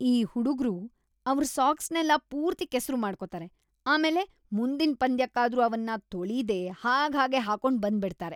ಈ ಹುಡುಗ್ರು ಅವ್ರ್ ಸಾಕ್ಸ್‌ನೆಲ್ಲ ಪೂರ್ತಿ ಕೆಸ್ರು ಮಾಡ್ಕೊತಾರೆ.. ಆಮೇಲೆ ಮುಂದಿನ್‌ ಪಂದ್ಯಕ್ಕಾದ್ರೂ ಅವನ್ನ ತೊಳೀದೇ ಹಾಗ್ಹಾಗೇ ಹಾಕೊಂಡ್‌ ಬಂದ್ಬಿಡ್ತಾರೆ.